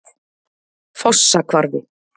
Fossahvarfi